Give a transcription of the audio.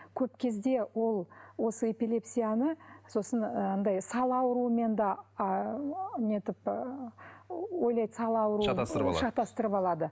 көп кезде ол осы эпилепсияны сосын ы анадай сал ауруымен де нетіп ы ойлайды сал ауруы шатастырып алады шатастырып алады